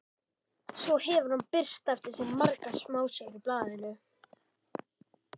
Svo hefur hann birt eftir sig margar smásögur í blaðinu.